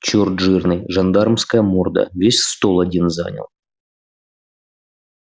чёрт жирный жандармская морда весь стол один занял